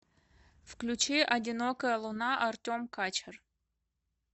включи одинокая луна артем качер